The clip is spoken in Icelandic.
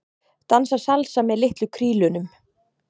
Dansa salsa með litlu krílunum